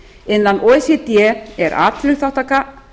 innan o e c d er atvinnuþátttaka